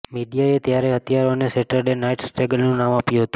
મીડિયાએ ત્યારે હત્યારાને Saturday night સ્ટ્રેંગલરનું નામ આપ્યું હતું